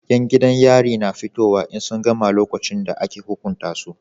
Yan gidan yari na fitowa in sun gama lokacin da aka hukunta su